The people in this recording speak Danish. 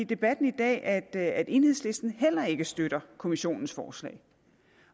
debatten i dag at enhedslisten heller ikke støtter kommissionens forslag